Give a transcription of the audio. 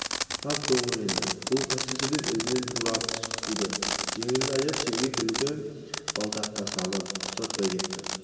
қап көріңді бұл қайсы деп ізінен тұра қуды жеңіл аяқ шеге түлкі бұлтаққа салып ұстатпай кетті